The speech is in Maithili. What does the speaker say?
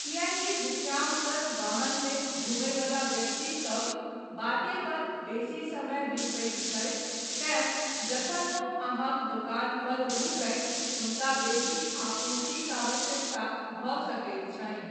किएकी विश्रामप्रद वाहनमे घुमयवला व्यक्तिसभ बाटे पर बेसी समय बितबैत छथि तेँ जखन ओ अहाँक दोकान पर रूकथि हुनका बेसी आपूर्तिक आवश्यकता भऽ सकैत छनि।